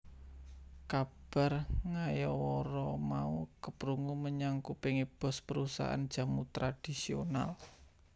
Kabar ngayawara mau keprungu menyang kupinge boss perusahaan jamu tradhisional